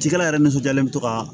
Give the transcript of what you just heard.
Cikɛla yɛrɛ nisɔndiyalen bɛ to kaa